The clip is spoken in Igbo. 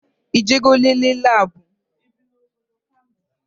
Ị je go nlele labu?